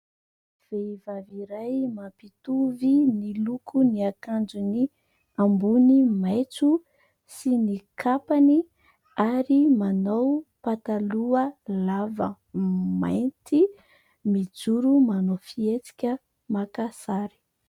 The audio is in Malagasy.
Vehivavy iray mampitovy ny lokon'ny akanjony ambony maitso sy ny kapany ary manao pataloha lava mainty, mijoro manao fihetsika maka sary.